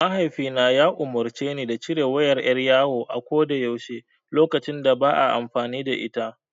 Mahaifina ya umurce ni da cire wayar ƴar yawo a ko da yaushe lokacin da ba a amfani da ita.